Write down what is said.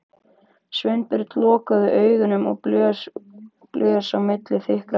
Sveinbjörn lokaði augunum og blés út á milli þykkra varanna.